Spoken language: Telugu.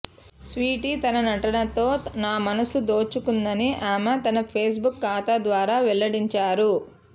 స్వీటీ తన నటనతో నా మనసు దోచుకుందని ఆమె తన ఫేస్బుక్ ఖాతా ద్వారా వెల్లడించారు